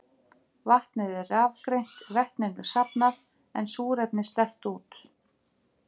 Vatnið er rafgreint, vetninu safnað en súrefni sleppt út.